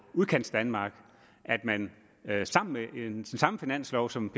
udkantsdanmark at man med den samme finanslov som